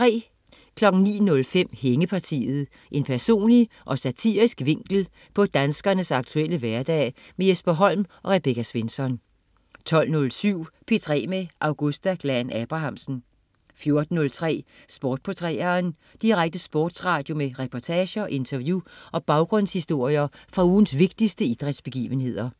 09.05 Hængepartiet. En personlig og satirisk vinkel på danskernes aktuelle hverdag. Jesper Holm og Rebecca Svensson 12.07 P3 med Augusta Glahn-Abrahamsen 14.03 Sport på 3'eren. Direkte sportsradio med reportager, interview og baggrundshistorier fra ugens vigtigste idrætsbegivenheder